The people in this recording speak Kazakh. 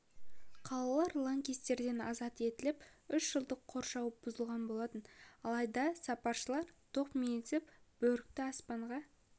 қалалары лаңкестерден азат етіліп үш жылдық қоршауы бұзылған болатын алайда сапаршылар тоқмейілсіп бөрікті аспанға